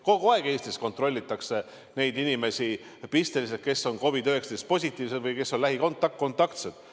Kogu aeg Eestis pisteliselt kontrollitakse neid inimesi, kes on COVID-19 positiivsed või kes on lähikontaktsed.